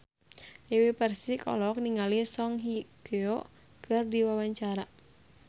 Dewi Persik olohok ningali Song Hye Kyo keur diwawancara